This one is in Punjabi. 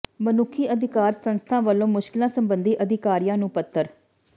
ਮਨੁੱਖੀ ਅਧਿਕਾਰ ਸੰਸਥਾ ਵੱਲੋਂ ਮੁਸ਼ਕਲਾਂ ਸਬੰਧੀ ਅਧਿਕਾਰੀਆਂ ਨੂੰ ਪੱਤਰ